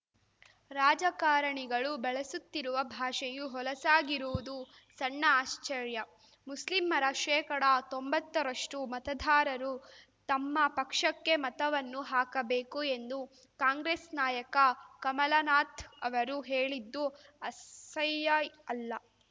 ರಾಜಕಾರಣಿಗಳು ಬಳಸುತ್ತಿರುವ ಭಾಷೆಯೂ ಹೊಲಸಾಗಿರುವುದು ಸಣ್ಣ ಆಶ್ಚರ್ಯ ಮುಸ್ಲಿಮ್ಮರ ಶೇಕಡತೊಂಬತ್ತರಷ್ಟುಮತದಾರರು ತಮ್ಮ ಪಕ್ಷಕ್ಕೆ ಮತವನ್ನು ಹಾಕಬೇಕು ಎಂದು ಕಾಂಗ್ರೆಸ್‌ ನಾಯಕ ಕಮಲನಾಥ್ ಅವರು ಹೇಳಿದ್ದು ಅಸಹ್ಯ ಅಲ್ಲ